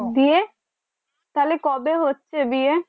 বিয়ে তাহলে কবে হচ্ছে বিয়ে